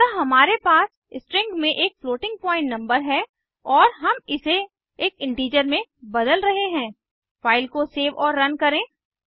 अतः हमारे पास स्ट्रिंग में एक फ्लोटिंग पॉइंट नंबर है और हम इसे एक इंटीजर में बदल रहे हैं फ़ाइल को सेव और रन करें